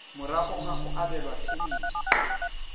morago ga go abelwa phemiti